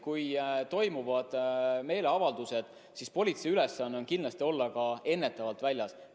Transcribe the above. Kui toimuvad meeleavaldused, siis politsei ülesanne on kindlasti olla ka ennetavalt väljas.